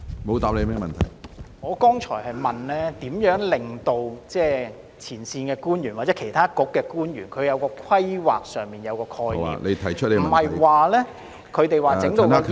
我剛才問的是，局長會如何令前線官員或其他政策局的官員在規劃上體現深港發展觀......